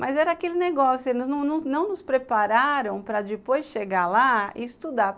Mas era aquele negócio, eles não nos nos prepararam para depois chegar lá e estudar.